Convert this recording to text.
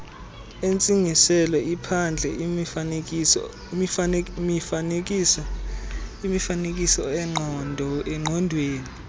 entsingiselo iphandle imifanekisoongqondweni